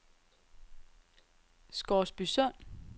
Scoresbysund